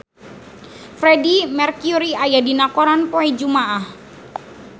Freedie Mercury aya dina koran poe Jumaah